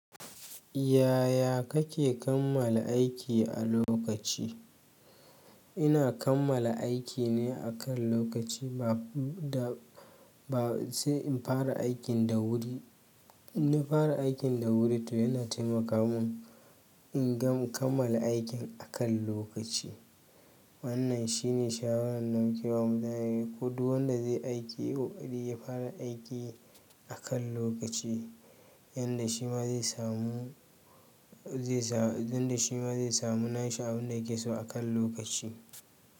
Yaya kake kammala aiki a lokaci? Ina kammala aiki ne akan lokaci, ba sai in fara aikin da wuri. Inna fara aikin da wuri to yana taimaka mun in gam kammala aikin akan lokaci. Wannan shi ne shawaran da muke ba wa mutane. Ko duk wanda zai aiki, yayi kokari ya fara aiki akan lokaci, yanda shi ma zai samu, zai samu, yanda shi ma zai samu nashi abinda yake so akan lokaci.